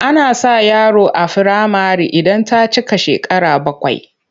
Ana sa yaro a firamare idan ta cika shekara bakwai.